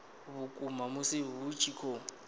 vhukuma musi hu tshi khou